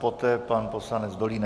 Poté pan poslanec Dolínek.